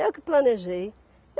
Eu que planejei.